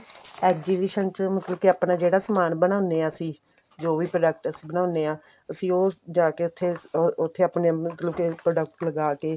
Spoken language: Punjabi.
exhibition ਚ ਮਤਲਬ ਕੇ ਆਪਣਾ ਜਿਹੜਾ ਸਮਾਨ ਬਣਾਉਂਦੇ ਆਂ ਅਸੀਂ ਜੋ ਵੀ product ਅਸੀਂ ਬਣਾਉਂਦੇ ਆਂ ਅਸੀਂ ਉਹ ਜਾ ਕੇ ਉੱਥੇ ਉੱਥੇ ਮਤਲਬ ਕੇ ਆਪਣੇ product ਲਗਾ ਕੇ